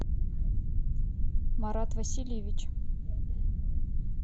марат васильевич